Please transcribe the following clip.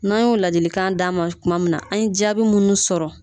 N'an y'o ladilikan d'a ma tuma min na an ye jaabi minnu sɔrɔ